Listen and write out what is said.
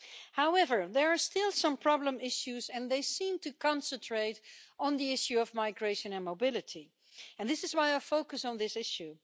However, there are still some problem issues, and they seem to concentrate on the issue of migration and mobility, and this is why I focus on this issue.